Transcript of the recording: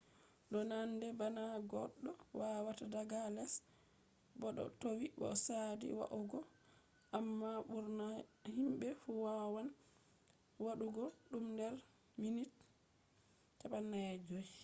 do nande bana goddo wawata daga les bo do towi bo sadi va’ugo amma burna himbe fu wawan wadugo dum der minti 45